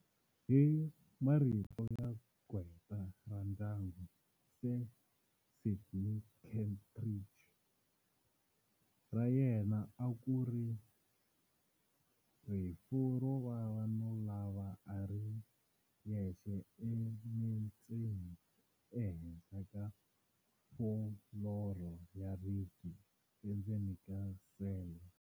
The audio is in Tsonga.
Hi marito ya qgweta ra ndyangu, Sir Sydney Kentridge, ra yena a ku ri rifu ro vava no lova a ri yexe emetseni ehenhla ka fuloro ya ribye endzeni ka sele.